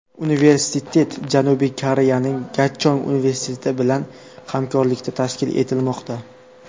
Universitet Janubiy Koreyaning Gachong universiteti bilan hamkorlikda tashkil etilmoqda.